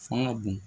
Fanga bon